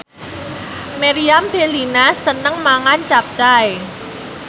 Meriam Bellina seneng mangan capcay